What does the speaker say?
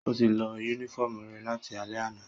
Ó ti lọ yúnífọ̀mù rẹ̀ láti alẹ́ àná